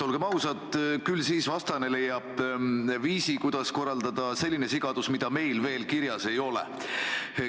Olgem ausad, küll vastane leiab viisi, kuidas korraldada selline sigadus, mida meil veel kirjas ei ole.